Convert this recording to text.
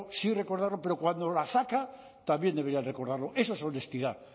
sí recordarlo pero cuando la saca también deberían recordarlo eso es honestidad